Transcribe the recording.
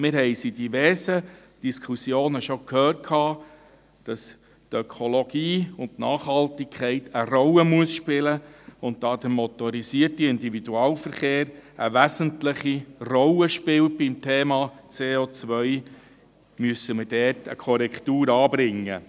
Wir haben in diversen Diskussionen schon gehört, dass Ökologie und Nachhaltigkeit eine Rolle spielen müssen, und da der motorisierte Individualverkehr beim Thema CO eine wesentliche Rolle spielt, müssen wir dort eine Korrektur anbringen.